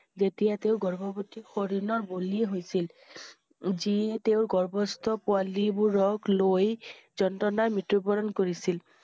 যেতিয়া তেওঁ গৰ্ভৱতী হৰিনৰ বলি হৈছিল। যিয়ে তেওঁৰ গৰ্ভস্থ পোৱালিবোৰক লৈ যন্ত্ৰণাৰ মৃত্যুবৰণ কৰিছিল।